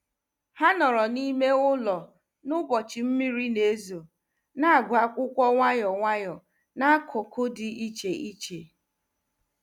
Ha nọrọ n’ime ụlọ n’ụbọchị mmiri na-ezo, na-agụ akwụkwọ nwayọ nwayọ n’akụkụ dị iche iche.